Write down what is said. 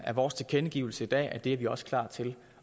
er vores tilkendegivelse i dag at det er vi også klar til